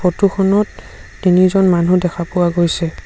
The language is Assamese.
ফটো খনত তিনিজন মানুহ দেখা পোৱা গৈছে।